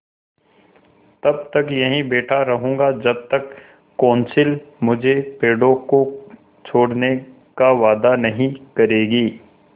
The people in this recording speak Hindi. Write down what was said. तब तक यहीं बैठा रहूँगा जब तक कौंसिल मुझे पेड़ों को छोड़ने का वायदा नहीं करेगी